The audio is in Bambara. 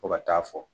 Fo ka taa fɔ